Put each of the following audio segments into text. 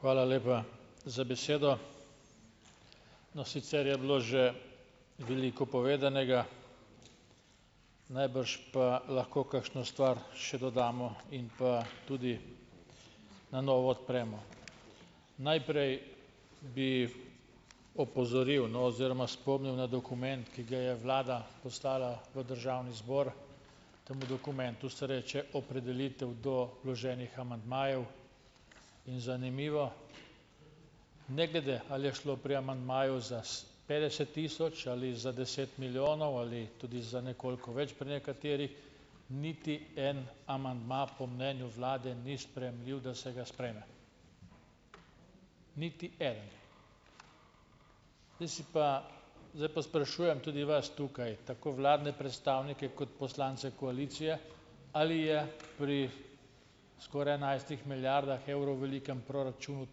Hvala lepa za besedo. No, sicer je bilo že veliko povedanega, najbrž pa lahko kakšno stvar še dodamo in pa tudi na novo odpremo. Najprej, bi opozoril, no, oziroma spomnil na dokument, ki ga je Vlada poslala v Državni zbor. Temu dokumentu se reče Opredelitev do vloženih amandmajev in zanimivo, ne glede, ali je šlo pri amandmaju za petdeset tisoč ali za deset milijonov ali tudi za nekoliko več pri nekaterih, niti en amandma po mnenju Vlade ni sprejemljiv, da se ga sprejeme. Niti eden. Zdaj si pa zdaj sprašujem tudi vas tukaj, tako vladne predstavnike kot poslance koalicije, ali je pri skoraj enajstih milijardah evrov velikem proračunu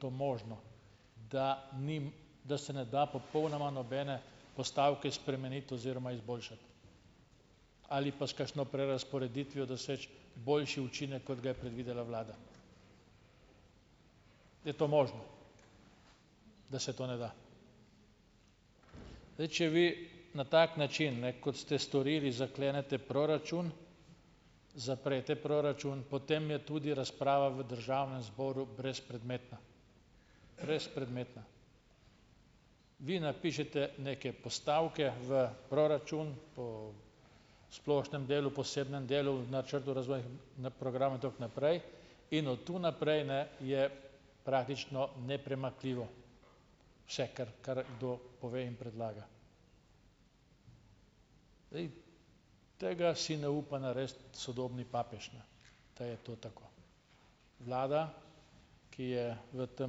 to možno, da ni, da se ne da popolnoma nobene postavke spremeniti oziroma izboljšati? Ali pa s kakšno prerazporeditvijo doseči boljši učinek, kot ga je predvidela Vlada? Je to možno, da se to ne da. Zdaj, če vi na tak način, ne kot ste storili, zaklenete proračun, zaprete proračun, potem je tudi razprava v Državnem zboru brezpredmetna, brezpredmetna. Vi napišete neke postavke v proračun, po splošnem delu, posebnem delu, in od tu naprej, ne, je praktično nepremakljivo vse, kar kdo pove in predlaga. Tega si ne upa narediti sodobni papež, ne ta je to tako. Vlada, ki je v tem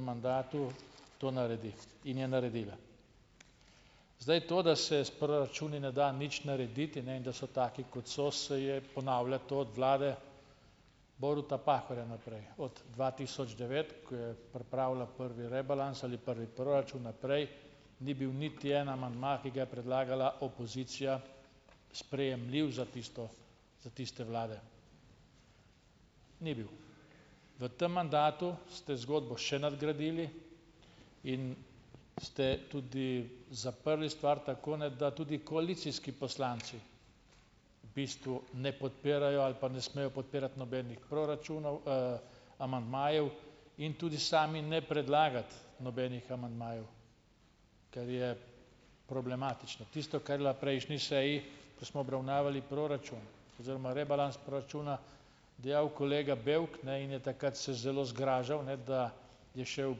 mandatu, to naredi in je naredila. Zdaj to, da se s proračuni ne da nič narediti ne in da so taki, kot so, se je ponavlja to od Vlade Boruta Pahorja naprej. Od dva tisoč devet, ko je pripravila prvi rebalans ali prvi proračun, naprej ni bil niti en amandma, ki ga je predlagala opozicija, sprejemljiv za tisto za tiste vlade, ni bil. V tem mandatu ste zgodbo še nadgradili in ste tudi zaprli stvar tako, ne, da tudi koalicijski poslanci v bistvu ne podpirajo ali pa ne smejo podpirati nobenih proračunov, amandmajev in tudi sami ne predlagati nobenih amandmajev, kar je problematično. Tisto, kar je na prejšnji seji, ko smo obravnavali proračun oziroma rebalans proračuna, dejal kolega Bevk, ne, in je takrat se zelo zgražal, ne, da je šel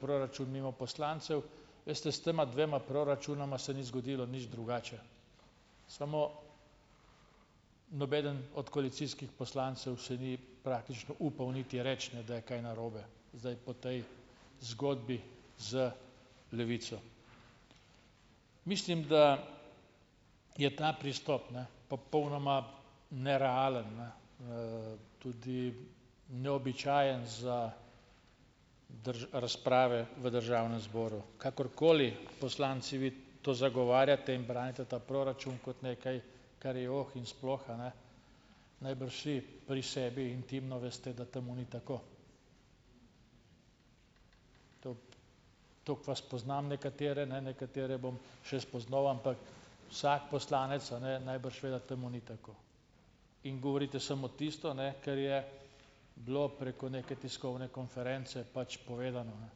proračun mimo poslancev, veste, s tema dvema proračunoma se ni zgodilo nič drugače, samo nobeden od koalicijskih poslancev se ni praktično upal niti reči, ne, da je kaj narobe, zdaj po tej zgodbi z Levico. Mislim, da je ta pristop ne popolnoma nerealen, ne tudi neobičajen za razprave v Državnem zboru. Kakorkoli poslanci vi to zagovarjate in branite ta proračun kot nekaj, kar je oh in sploh, a ne najbrž vsi pri sebi intimno veste, da temu ni tako. Toliko vas poznam nekatere, ne, nekatere bom še spoznal, ampak vsak poslanec a ne najbrž ve, da temu ni tako. In govorite samo tisto, ne, ker je bilo preko neke tiskovne konference pač povedano, ne,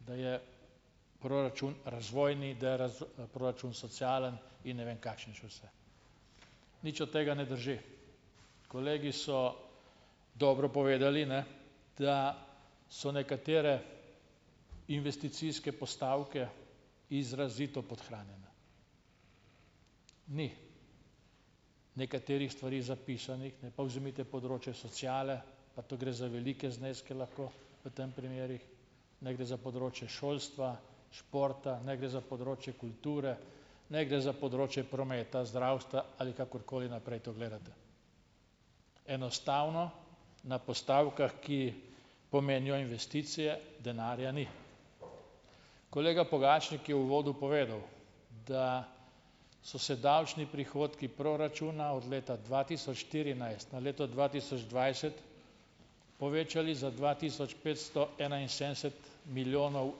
da je proračun razvojni, da je proračun socialen in ne vem kakšen še vse. Nič od tega ne drži. Kolegi so dobro povedali, ne, da so nekatere investicijske postavke izrazito podhranjene. Ni nekaterih stvari zapisanih, ne, pa vzemite področje sociale, pa tu gre za velike zneske lahko v tem primerih, naj gre za področje šolstva, športa, naj gre za področje kulture, naj gre za področje prometa, zdravstva ali kakorkoli naprej to gledate. Enostavno na postavkah, ki pomenijo investicije, denarja ni. Kolega Pogačnik je v uvodu povedal, da so se davčni prihodki proračuna od leta dva tisoč štirinajst na leto dva tisoč dvajset povečali za dva tisoč petsto enainsedemdeset milijonov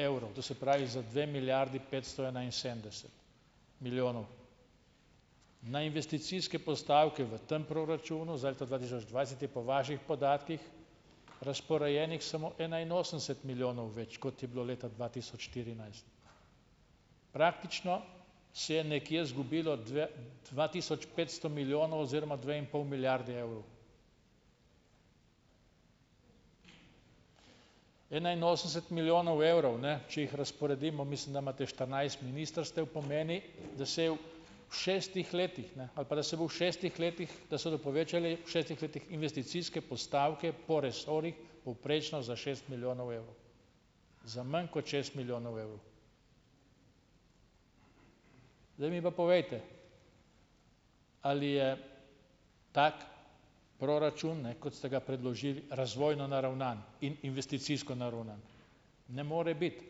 evrov, to se pravi za dve milijardi petsto enainsedemdeset milijonov. Na investicijske postavke v tem proračunu za leto dva tisoč dvajset je po vaših podatkih razporejenih samo enainosemdeset milijonov več, kot je bilo leta dva tisoč štirinajst. Praktično se je nekje zgubilo dva tisoč petsto milijonov oziroma dve in pol milijardi evrov. Enainosemdeset milijonov evrov, ne, če jih razporedimo, mislim, da imate štirinajst ministrstev, pomeni, da se je v šestih letih ne, ali pa da se bo v šestih letih, da se bodo povečali v šestih letih investicijske postavke po resorjih povprečno za šest milijonov evrov, za manj kot šest milijonov evrov. Zdaj mi pa povejte, ali je tako proračun, ne, kot ste ga predložili, razvojno naravnan in investicijsko naravnan? Ne more biti,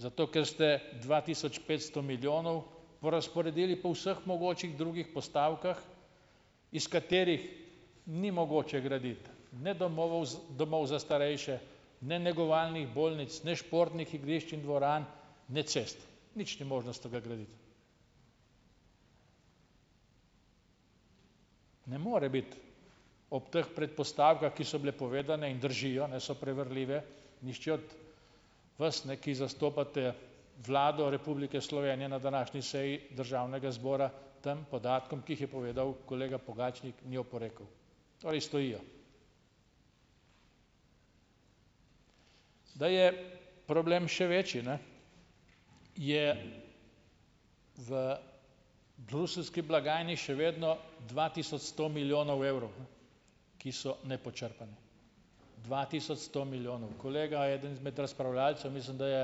zato ker ste dva tisoč petsto milijonov porazporedili po vseh mogočih drugih postavkah, iz katerih ni mogoče graditi, ne domovov domov za starejše, ne negovalnih bolnic, ne športnih igrišč in dvoran, ne cest. Nič ni možno iz tega graditi. Ne more biti ob teh predpostavkah, ki so bile povedane in držijo, ne so preverljive, nihče od vas, ne, ki zastopate Vlado Republike Slovenije na današnji seji Državnega zbora tem podatkom, ki jih je povedal kolega Pogačnik, ni oporekel. Torej, stojijo. Da je problem še večji, ne, je v bruseljski blagajni še vedno dva tisoč sto milijonov evrov, ki so nepočrpani. Dva tisoč sto milijonov kolega, eden izmed razpravljavcev, mislim, da je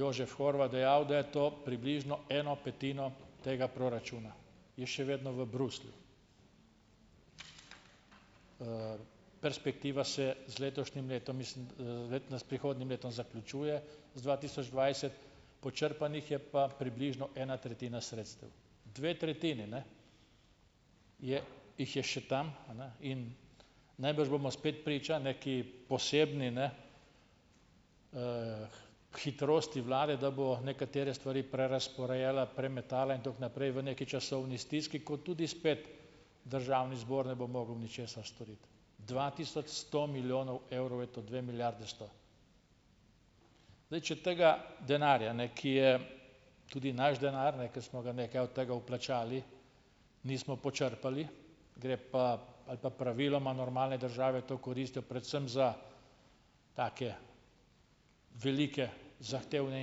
Jožef Horvat dejal, da je to približno eno petino tega proračuna, je še vedno v Bruslju. Perspektiva se z letošnjim letom, mislim, prihodnjim letom zaključuje z dva tisoč dvajset. Počrpanih je pa približno ena tretjina sredstev. Dve tretjini, ne, je jih je še tam, a ne. In najbrž bomo spet priča neki posebni, ne, hitrosti Vlade, da bo nekatere stvari prerazporejala, premetala in tako naprej v neki časovni stiski, ko tudi spet Državni zbor ne bo mogel ničesar storiti. Dva tisoč sto milijonov evrov je to, dve milijardi sto. Zdaj še tega denarja, ne, ki je tudi naš denar, ker smo ga nekaj od tega vplačali, nismo počrpali, gre pa ali pa praviloma normalni državi to koristijo predvsem za take velike zahtevne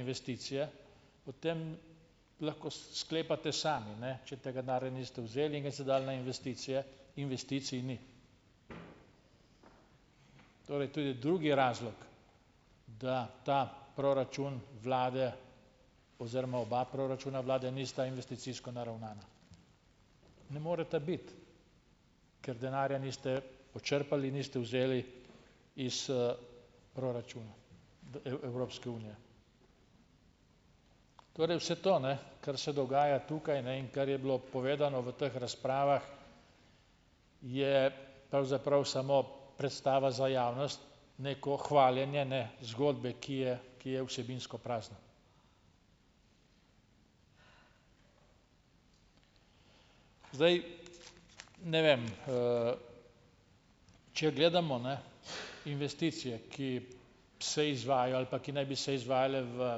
investicije, potem lahko sklepate sami, ne, še tega denarja niste vzeli in ga niste dali na investicije, investicij ni. Torej, tudi drugi razlog, da ta proračun Vlade oziroma oba proračuna Vlade nista investicijsko naravnana. Ne moreta biti, ker denarja niste počrpali, niste vzeli iz proračuna Evropske unije. Torej, vse to, ne, kar se dogaja tukaj, ne, in kar je bilo povedano v teh razpravah, je pravzaprav samo predstava za javnost, neko hvaljenje, ne, zgodbe, ki je, ki je vsebinsko prazna. Zdaj, ne vem Če gledamo, ne, investicije, ki se izvajajo ali pa, ki naj bi se izvajale v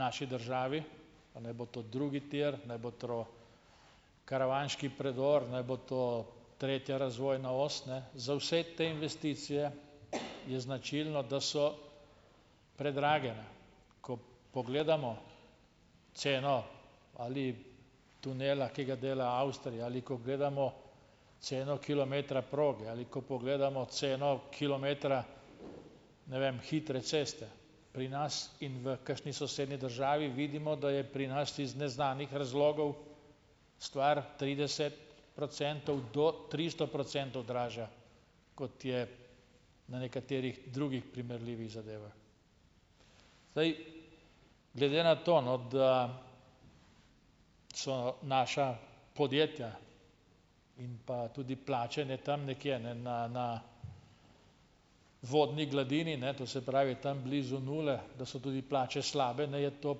naši državi, pa naj bo to drugi tir, naj bo karavanški predor, naj bo to tretja razvojna os, ne, za vse te investicije je značilno, da so predrage, ne. Ko pogledamo ceno ali tunela, ki ga dela Avstrija, ali ko gledamo ceno kilometra proge ali ko pogledamo ceno kilometra, ne vem, hitre ceste, pri nas in v kakšni sosednji državi, vidimo, da je pri nas iz neznanih razlogov stvar trideset procentov do tristo procentov dražja, kot je na nekaterih drugih primerljivih zadevah. Zdaj, glede na to, no, da so naša podjetja in pa tudi plače tam nekje, na na vodni gladini, ne, to se pravi tam blizu nule, da so tudi plače slabe, ne, je to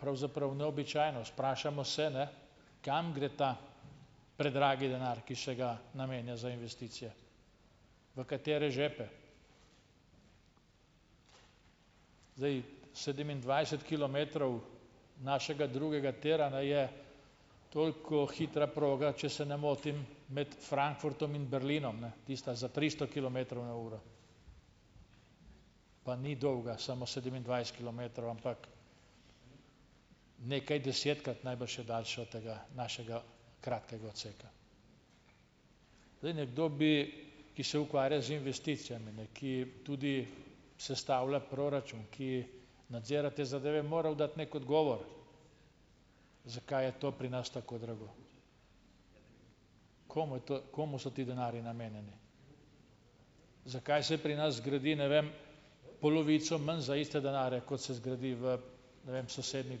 pravzaprav neobičajnost. Vprašamo se, kam gre ta predragi denar, ki se ga namenja za investicije, v katere žepe. Zdaj sedemindvajset kilometrov našega drugega tira, ne, je toliko hitra proga, če se ne motim, med Frankfurtom in Berlinom, ne, tista za tristo kilometrov na uro, pa ni dolga samo sedemindvajset kilometrov, ampak nekaj desetkrat najbrž je daljša od tega našega kratkega odseka. Zdaj nekdo bi, ki se ukvarja z investicijami, ne, ki tudi sestavlja proračun, ki nadzira te zadeve, moral dati neki odgovor, zakaj je to pri nas tako drago. Komu je to, komu so ti denarji namenjeni? Zakaj se pri nas gradi, ne vem, polovico manj za iste denarje, kot se zgradi, v ne vem, sosednjih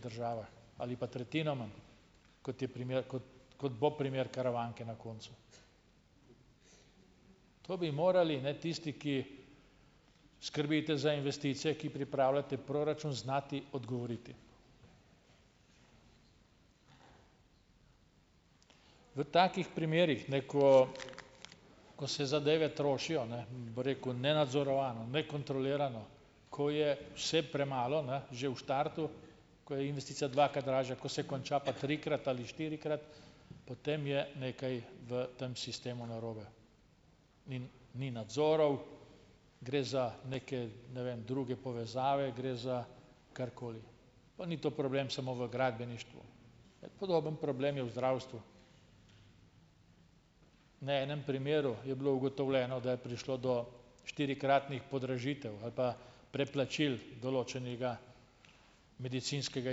državah ali pa tretjino manj, kot je primer, kot kot bo primer Karavanke na koncu? To bi morali, ne, tisti, ki skrbite za investicije, ki pripravljate proračun, znati odgovoriti. V takih primerih, ne, ko ko se zadeve trošijo, ne bi rekel nenadzorovano, nekontrolirano, ko je vse premalo, ne, že v štartu, ko je investicija dvakrat dražja. Ko se konča, pa trikrat ali štirikrat, potem je nekaj v tem sistemu narobe. In ni nadzorov, gre za neke ne vem druge, povezave, gre za karkoli. Pa ni to problem samo v gradbeništvu, podobno problem je v zdravstvu. Na enem primeru je bilo ugotovljeno, da je prišlo do štirikratnih podražitev ali pa preplačil določenega medicinskega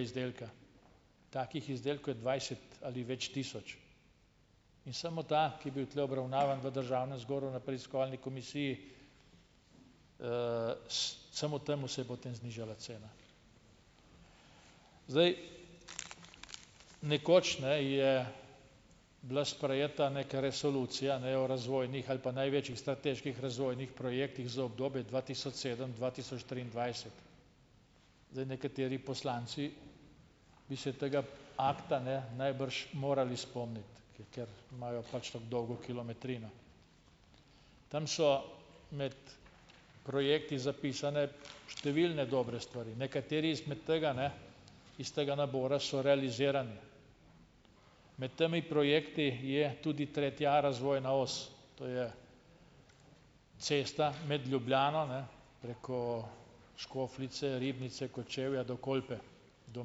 izdelka. Takih izdelkov je dvajset ali več tisoč. In samo ta, ki je bil tule obravnavan v Državnem zboru na Preiskovalni komisiji, samo temu se je potem znižala cena. Zdaj, nekoč, ne, je bila sprejeta neka resolucija, ne, o razvojnih ali pa največjih strateških razvojnih projektih za obdobje dva tisoč sedem - dva tisoč triindvajset. Zdaj nekateri poslanci bi se tega akta ne najbrž morali spomniti, ker imajo pač tako dolgo kilometrino. Tam so med projekti zapisane številne dobre stari. Nekateri izmed tega, ne, iz tega nabora so realizirani. Med temi projekti je tudi tretja a razvojna os. To je cesta med Ljubljano, ne preko Škofljice, Ribnice, Kočevja, do Kolpe, do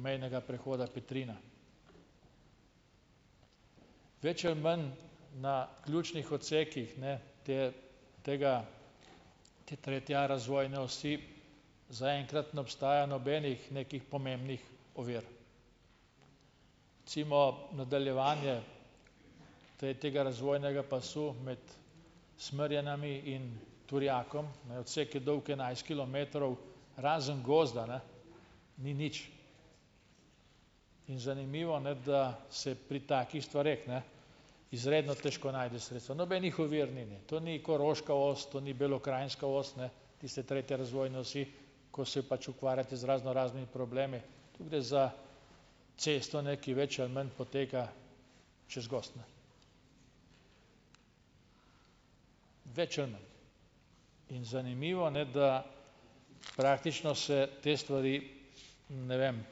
mejnega prehoda Petrina. Več ali manj na ključnih odsekih, ne, te tega te tretje a razvojne osi, za enkrat ne obstaja nobenih nekih pomembnih ovir. Recimo nadaljevanje te tega razvojnega pasu med Smerjenami in Turjakom, ne, odsek je dolg enajst kilometrov razen gozda, ne, ni nič. In zanimivo, ne, da se pri takih stvareh, ne, izredno težko najde sredstva. Nobenih ovir ni. To ni koroška os, to ni belokranjska os, tiste tretje razvojne osi, ko se pač ukvarjate z raznoraznimi problemi. Tu gre za cesto, ne, ki več ali manj poteka čez gozd, ne, več ali manj, in zanimivo, ne, da praktično se te stvari, ne vem,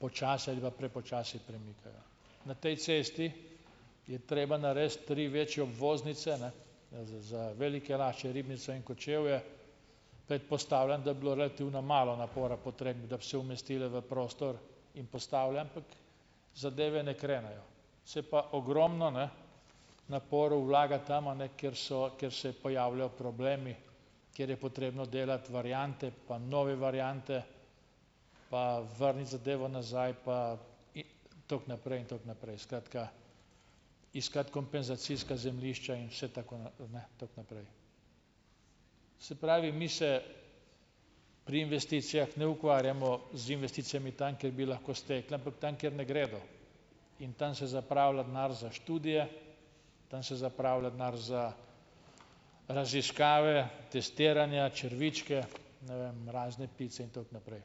počasi ali pa prepočasi premikajo. Na tej cesti je treba narediti tri večje obvoznice, ne, za Velike Lašče, Ribnico in Kočevje. Predpostavljam, da bi bilo relativno malo napora potrebnega, da bi se umestile v prostor, in postavljam zadeve ne krenejo. Se pa ogromno, ne, naporov vlaga tam, a ne, kjer so, kjer se pojavljajo problemi, kjer je potrebno delati variante pa nove variante, pa vrniti zadevo nazaj pa tako naprej in tako naprej. Skratka, iskati kompenzacijska zemljišča in vse tako, ne, tako naprej. Se pravi, mi se pri investicijah ne ukvarjamo z investicijami tam, kjer bi lahko stekla, ampak tam, kjer ne gredo. In tam se zapravlja denar za študije, tam se zapravlja denar za raziskave, testiranja, črvičke, ne vem, razne pice in tako naprej.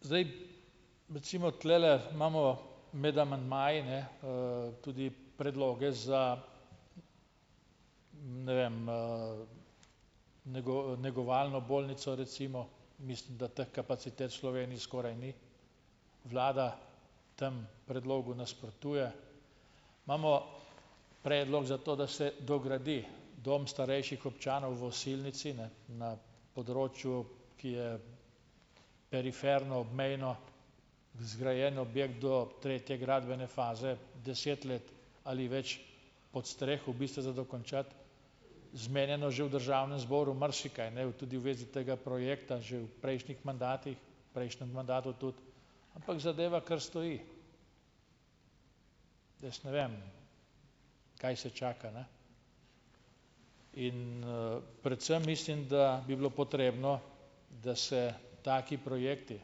Zdaj, recimo tulele imamo med amandmaji, ne, tudi predloge za, ne vem, negovalno bolnico, recimo. Mislim, da teh kapacitet v Sloveniji skoraj ni, vlada temu predlogu nasprotuje. Imamo predlog zato, da se dogradi dom starejših občanov v Osilnici, ne, na področju, ki je periferno, obmejno, zgrajen objekt do tretje gradbene faze, deset let ali več podstreh, v bistvu za dokončati, zmenjeno že v Državnem zboru marsikaj, ne. Tudi v vezi tega projekta že v prejšnjih mandatih, prejšnjem mandatu tudi, ampak zadeva kar stoji. Jaz ne vem, kaj se čaka, ne. In predvsem mislim, da bi bilo potrebno, da se taki projekti,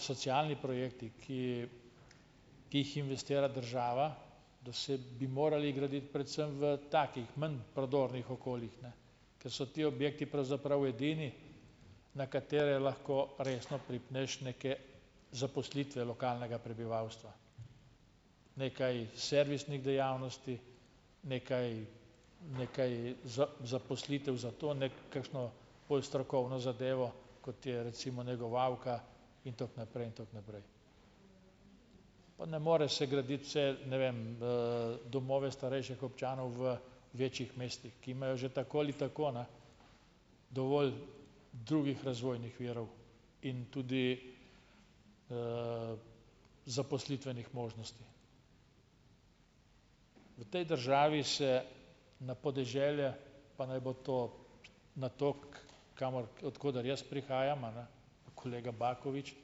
socialni projekti, ki ki jih investira država, da se bi morali graditi predvsem v takih manj prodornih okoljih, ne, ker so ti objekti pravzaprav edini, na katere lahko resno pripneš neke zaposlitve lokalnega prebivalstva. Nekaj servisnih dejavnosti, nekaj nekaj zaposlitev za to, ne, kakšno bolj strokovno zadevo, kot je recimo negovalka in tako naprej in tako naprej. Pa ne more se graditi vse, ne vem, domove starejših občanov v večjih mestih, ki imajo že tako ali tako, ne, dovolj drugih razvojnih virov in tudi zaposlitvenih možnosti. V tej državi se na podeželje, pa naj bo to na to, kamor od koder jaz prihajam a ne pa kolega Bakovič,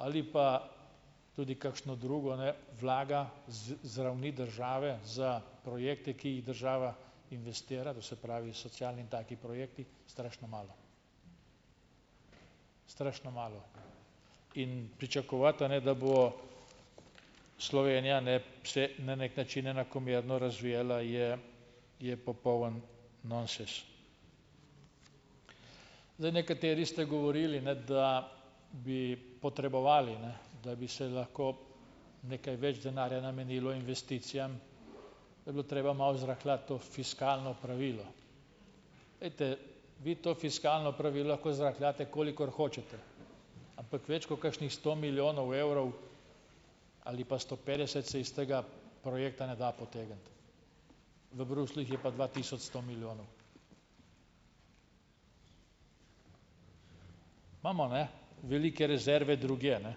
ali pa tudi kakšno drugo, ne vlaga z z ravni države za projekte, ki jih država investira, to se pravi socialni in taki projekti, strašno malo. Strašno malo in pričakovati, a ne, da bo Slovenija, ne, se na neki način enakomerno razvijala, je je popoln nonsens. Zdaj nekateri ste govorili, ne, da bi potrebovali, ne, da bi se lahko nekaj več denarja namenilo investicijam, to bi bilo treba malo zrahljati to fiskalno pravilo. Ejte, vi to fiskalno pravilo lahko zrahljate, kolikor hočete, ampak več ko kakšnih sto milijonov evrov, ali pa sto petdeset, se iz tega projekta ne da potegniti. V Bruslju jih je pa dva tisoč sto milijonov. Imamo, ne, velike rezerve drugje, ne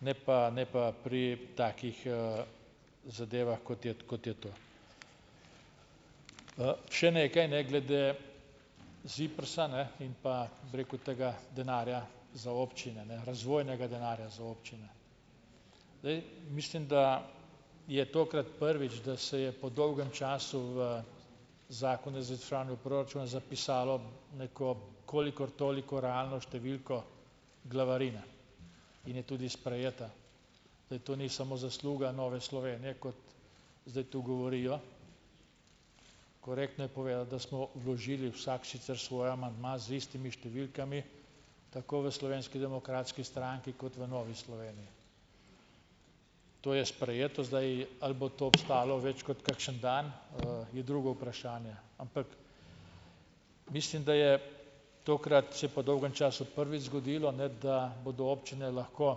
ne pa, ne pa pri takih zadevah, kot je kot je to. Še nekaj ne glede ZIPRS-a, ne, in pa, bi rekel, tega denarja za občine, ne, razvojnega denarja za občine. Dej mislim, da je tokrat prvič, da se je po dolgem času v Zakonu o izvrševanju proračuna zapisalo neko kolikor toliko realno številko glavarine in je tudi sprejeta. Zdaj to ni samo zasluga Nove Slovenije, kot zdaj tu govorijo. Korektno je povedati, da smo vložili vsak sicer svoj amandma z istimi številkami, tako v Slovenski demokratski stranki kot v Novi Sloveniji. To je sprejeto zdaj, ali bo to obstalo veè kot kakšen dan, je drugo vprašanje, ampak mislim, da je tokrat se po dolgem času prvič zgodilo, ne, da bodo občine lahko,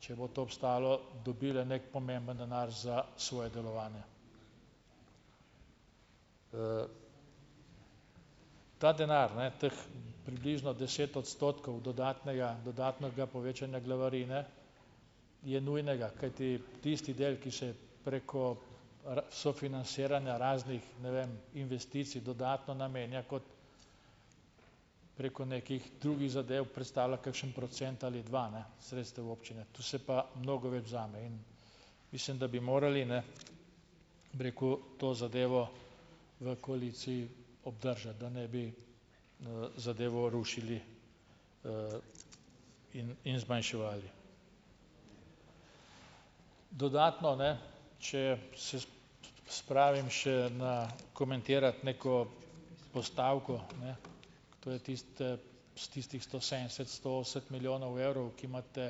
če bo to obstalo, dobile neki pomemben denar za svoje delovanje. Ta denar, ne, teh približno deset odstotkov dodatnega dodatnega povečanja glavarine je nujnega, kajti tisti del, ki se preko sofinansiranja raznih, ne vem, investicij dodatno namenja kot preko nekih drugih zadev, predstavlja kakšen procent ali dva, ne, sredstev občine. Tu se pa mnogo več vzame in mislim, da bi morali, ne, bi rekel, to zadevo v koaliciji obdržati, da ne bi zadevo rušili in in zmanjševali. Dodatno, ne, če spravim še na komentirati neko postavko, ne, ker to je tiste tistih sto sedemdeset sto osemdeset milijonov evrov, ki imate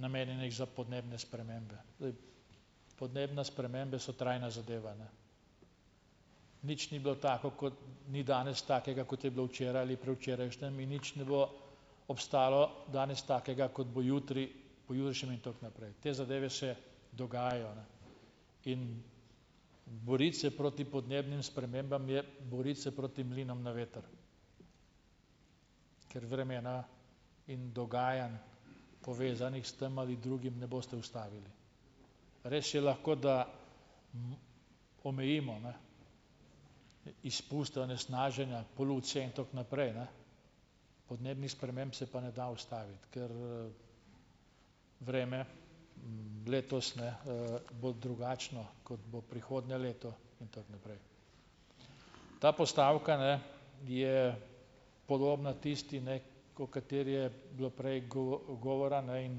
namenjenih za podnebne spremembe. Zdaj, pomembne spremembe so trajna zadeva, ne. Nič ni bilo tako, kot ni danes takega, kot je bilo včeraj ali predvčerajšnjim, in nič ne bo obstalo danes takega, kot bo jutri, pojutrišnjem in tako naprej. Te zadeve se dogajajo, ne, in boriti se proti podnebnim spremembam je boriti se proti mlinom na veter, ker vremena in dogajanj, povezanih s tem ali drugim, ne boste ustavili. Res je, lahko da omejimo izpust onesnaženja, polucije in tako naprej, ne. Podnebnih sprememb se pa ne da ustaviti, ker vreme letos ne bo drugačno, kot bo prihodnje leto in tako naprej. Ta postavka, ne, je podobna tisti, ne, o kateri je bilo prej govora, ne, in